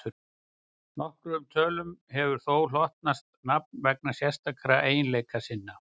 nokkrum tölum hefur þó hlotnast nafn vegna sérstakra eiginleika sinna